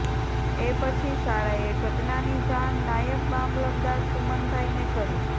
એ પછી શાળાએ ઘટનાની જાણ નાયબ મામલતદાર સુમનભાઇને કરી